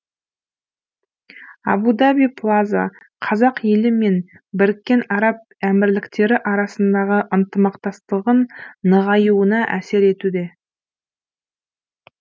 абу даби плаза қазақ елі мен біріккен араб әмірліктері арасындағы ынтымақтастығың нығаюына әсер етуде